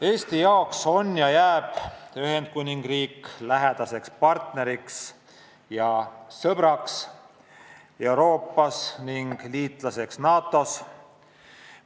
Eesti jaoks jääb Ühendkuningriik ka edaspidi lähedaseks partneriks ja sõbraks Euroopas ning liitlaseks NATO-s.